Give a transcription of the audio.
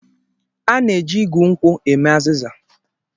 A na-eji igu nkwụ eme azịza.